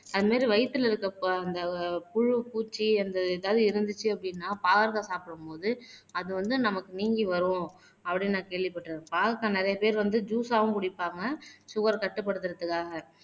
அது மாதிரி வயித்துல இருக்க அந்த புழு பூச்சி அந்த எதாவது இருந்துச்சு அப்படின்னா பாவக்காய் சாப்பிடும்போது அது வந்து நமக்கு நீங்கி வரும் அப்படின்னு நான் கேள்விப்பட்டிருக்கேன். பாகற்காய் நிறையா பேர் வந்து ஜூஸ்ஸாவும் குடிப்பாங்க சுகர் கட்டுப்படுத்தறதுக்காக.